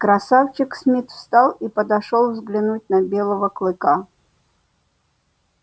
красавчик смит встал и подошёл взглянуть на белого клыка